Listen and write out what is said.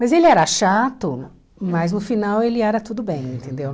Mas ele era chato, mas no final ele era tudo bem, entendeu?